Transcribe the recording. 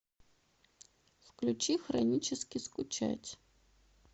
включи хронически скучать